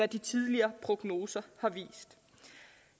de tidligere prognoser har vist